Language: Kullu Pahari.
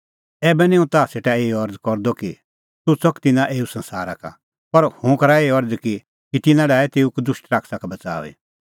ऐबै निं हुंह ताह सेटा एही अरज़ करदअ कि तूह च़क तिन्नां एऊ संसारा का पर हुंह करा एही अरज़ कि तिन्नां डाहे तेऊ कदुष्टा का बच़ाऊई